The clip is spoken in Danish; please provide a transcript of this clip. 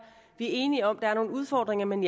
vi er enige om at der er nogle udfordringer men